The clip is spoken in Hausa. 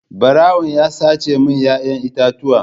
Barawon ya sace min 'ya'yan itatuwa.